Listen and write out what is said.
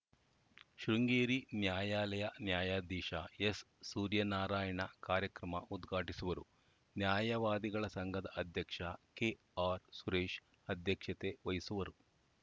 ಶೃಂಗೇರಿ ನ್ಯಾಯಾಲಯ ನ್ಯಾಯಾಧೀಶ ಎಸ್‌ಸೂರ್ಯನಾರಾಯಣ ಕಾರ್ಯಕ್ರಮ ಉದ್ಘಾಟಿಸುವರು ನ್ಯಾಯವಾದಿಗಳ ಸಂಘದ ಅಧ್ಯಕ್ಷ ಕೆಆರ್‌ಸುರೇಶ್‌ ಅಧ್ಯಕ್ಷತೆ ವಹಿಸುವರು